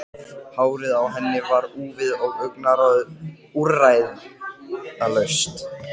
Það voru því hæg heimatökin að panta viðtalstíma hjá bankastjóranum.